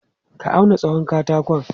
Ka auna tsawon katakon?